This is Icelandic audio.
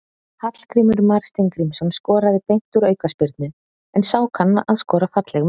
Hallgrímur Mar Steingrímsson skoraði beint úr aukaspyrnu, en sá kann að skora falleg mörk.